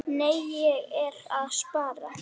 Nei, ég er að spara.